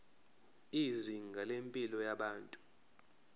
izinga lempilo yabantu